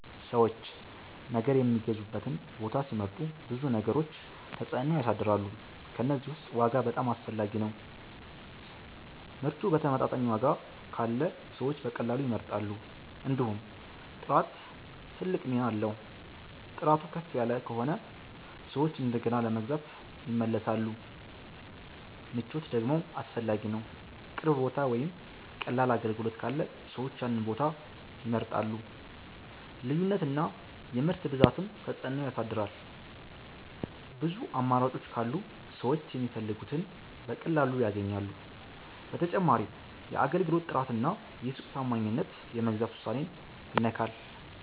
ሰዎች ነገር የሚገዙበትን ቦታ ሲመርጡ ብዙ ነገሮች ተጽዕኖ ያሳድራሉ። ከእነዚህ ውስጥ ዋጋ በጣም አስፈላጊ ነው፤ ምርቱ በተመጣጣኝ ዋጋ ካለ ሰዎች በቀላሉ ይመርጣሉ። እንዲሁም ጥራት ትልቅ ሚና አለው፤ ጥራቱ ከፍ ከሆነ ሰዎች እንደገና ለመግዛት ይመለሳሉ። ምቾት ደግሞ አስፈላጊ ነው፣ ቅርብ ቦታ ወይም ቀላል አገልግሎት ካለ ሰዎች ያንን ቦታ ይመርጣሉ። ልዩነት እና የምርት ብዛትም ተጽዕኖ ያሳድራል፤ ብዙ አማራጮች ካሉ ሰዎች የሚፈልጉትን በቀላሉ ያገኛሉ። በተጨማሪም የአገልግሎት ጥራት እና የሱቅ ታማኝነት የመግዛት ውሳኔን ይነካል።